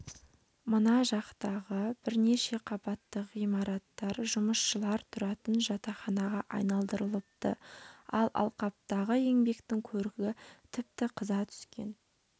мына жақтағы бірнеше қабатты ғимараттар жұмысшылар тұратын жатақханаға айналдырылыпты ал алқаптағы еңбектің көрігі тіпті қыза түскен